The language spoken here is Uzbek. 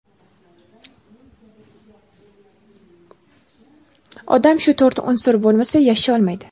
Odam shu to‘rt unsur bo‘lmasa yasholmaydi.